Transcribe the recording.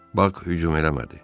Bax hücum eləmədi.